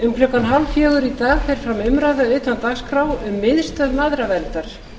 um klukkan hálffjögur í dag fer fram umræða utan dagskrár um miðstöð mæðraverndar